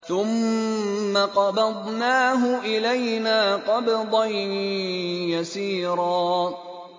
ثُمَّ قَبَضْنَاهُ إِلَيْنَا قَبْضًا يَسِيرًا